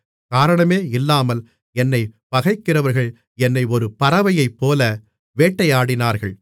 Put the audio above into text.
காரணமே இல்லாமல் என்னைப் பகைக்கிறவர்கள் என்னை ஒரு பறவையைப்போல வேட்டையாடினார்கள்